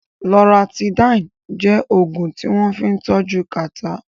Loratidín jẹ́ Ògùn tí wọ́n fín tọ́jú kàtá